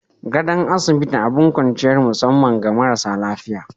Gadon asibiti abin kwanciyar musamman ga marasa lafiya.